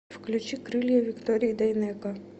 включи крылья виктории дайнеко